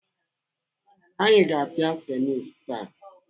Anyị ga-apịa tenisi taa.